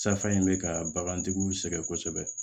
Safan in bɛ ka bagantigiw sɛgɛn kosɛbɛ